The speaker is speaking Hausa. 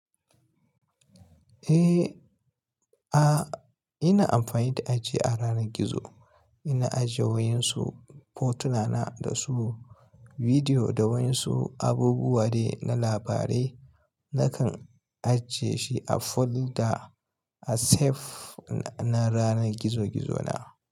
Eh, a ina amfani da aji a ranar gizo. Ina ajiye waensu fotuna na da su bidiyo da wasu abubuwa dai na labarai nakan ajie shi a folder a save na ranar gizo-gizona.